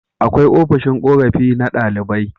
Akwai ofishin korafi na ɗalibai